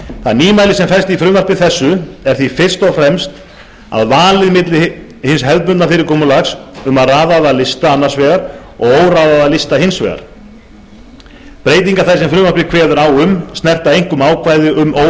það nýmæli sem felst í frumvarpi þessu er því fyrst og fremst valið á milli hins hefðbundna fyrirkomulags um raðaða lista annars vegar og óraðaða lista hins vegar breytingar þær sem frumvarpið kveður á um snerta einkum ákvæði um